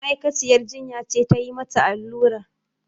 Ma'aikaciyar jinya ce tayi mata allurar